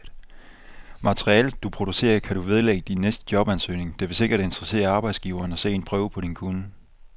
Materialet, du producerer, kan du vedlægge din næste jobansøgning, det vil sikkert interessere arbejdsgiveren at se en prøve på din kunnen.